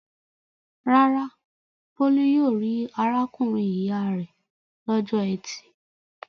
Rárá, Bólú yóò rí arákùnrin-ìyá rẹ̀ lọ́jọ́ ẹtì.